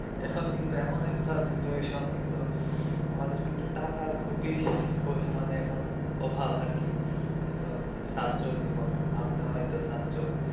এখন কিন্তু এমন একটা situation কিন্তু আমাদের কিন্তু টাকার খুবই পরিমানে এখন অভাব আর কি এখন ছাত্র জীবন আপনিও হয়তো ছাত্র.